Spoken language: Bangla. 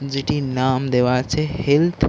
যেটির নাম দেয়া আছে হেল্থ ।